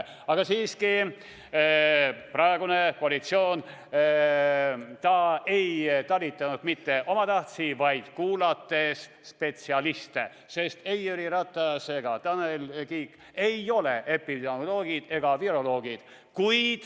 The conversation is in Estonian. Aga siiski, praegune koalitsioon ei talitanud mitte omatahtsi, vaid kuulates spetsialiste, sest Jüri Ratas ega Tanel Kiik ei ole epidemioloogid ega viroloogid.